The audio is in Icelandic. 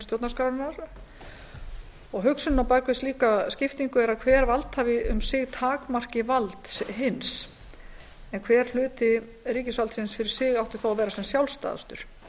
stjórnarskrárinnar hugsunin á bak við slíka skiptingu er að hver valdhafi um sig takmarki vald hins en hver hluti ríkisvaldsins fyrir sig átti þó að vera sem sjálfstæðastur